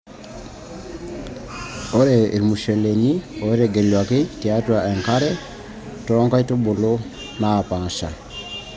ore irmusheleni ootegeluaki tiatua enkare too nkulupuok naapaasha.